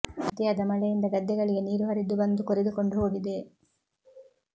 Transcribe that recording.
ಅತಿಯಾದ ಮಳೆಯಿಂದ ಗದ್ದೆಗಳಿಗೆ ನೀರು ಹರಿದು ಬಂದು ಕೊರೆದು ಕೊಂಡು ಹೋಗಿದೆ